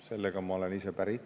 Sellega ma olen päri.